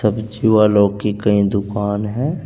सब्जी वालों की कई दुकान है।